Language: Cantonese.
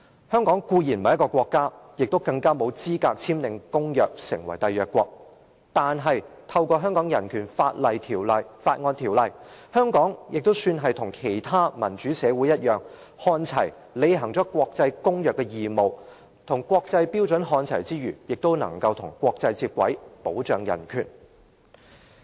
香港固然不是一個國家，更沒有資格簽訂公約成為締約國，但透過《香港人權法案條例》，香港也算是與其他民主社會看齊，履行了國際公約的義務，與國際標準看齊之餘，也能與國際接軌，保障人權。